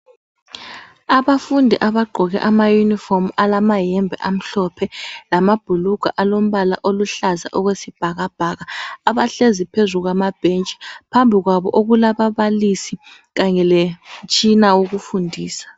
Abafundi abagqoke amayunifomu alamayembe amhlophe lamabhulugwa alombala oluhlaza okwesibhakabhaka abahlezi phuzulu kwamabhentshi phambili kwabo okulababalisi kanye lemitshina yokufundisa.